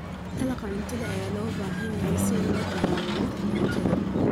Dalagga cuntada ayaa loo baahan yahay si loola dagaallamo gaajada.